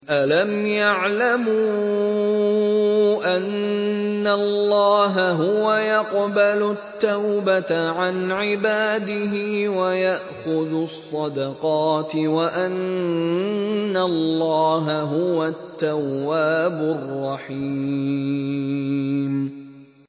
أَلَمْ يَعْلَمُوا أَنَّ اللَّهَ هُوَ يَقْبَلُ التَّوْبَةَ عَنْ عِبَادِهِ وَيَأْخُذُ الصَّدَقَاتِ وَأَنَّ اللَّهَ هُوَ التَّوَّابُ الرَّحِيمُ